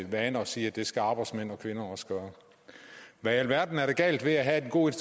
vane at sige at det skal arbejdsmænd og kvinder også gøre hvad i alverden er der galt ved at have den gode